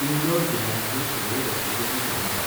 इन्दोर जिल्ल्यांतल्यो सगळ्यो रक्तपेढी सोदून काड.